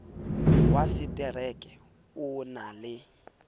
wa setereke o na le